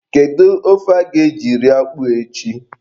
Kedu ofe a ga-eji rie akpụ a echi?